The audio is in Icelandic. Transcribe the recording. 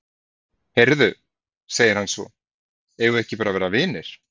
Heyrðu, segir hann svo, eigum við ekki bara að vera vinir?